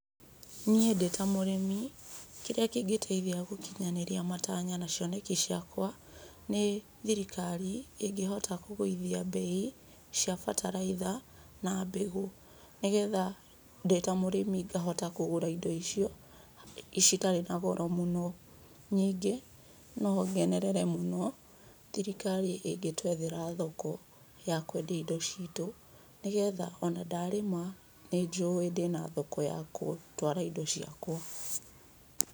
Niĩ ndĩta mũrĩmi kĩrĩa kĩngĩkinyanĩria matanya na cioneki ciakwa nĩ thirikari ĩngĩhota kũgũithia mbei cia bataraica na mbegũ. Nĩ getha ndĩ ta mũrĩmi ngahota kũgũra indo icio ciatrĩ na goro mũno. Ningĩ no ngenerere mũno thirikari ĩngĩtwethera thoko ya kwendia indo citũ, nĩ getha ona ndarĩma nĩ njũĩ ndĩna thoko ya gũtwara indo ciakwa.